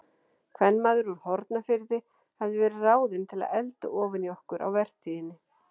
Kvenmaður úr Hornafirði hafði verið ráðinn til að elda ofan í okkur á vertíðinni.